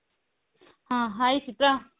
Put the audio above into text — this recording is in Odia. ହଁ hi ସିପ୍ରା